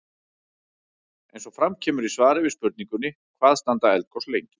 Eins og fram kemur í svari við spurningunni Hvað standa eldgos lengi?